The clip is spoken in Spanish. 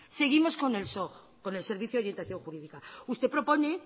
seguimos con el soj con el servicio de orientación jurídica usted propone